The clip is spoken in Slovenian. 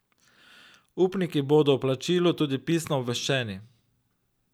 Upniki bodo o plačilu tudi pisno obveščeni.